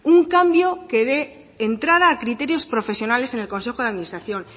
un cambio que dé entrada a criterios profesionales en el consejo de administración